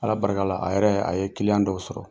Ala barika la a yɛrɛ a ye kiliyan dɔw sɔrɔ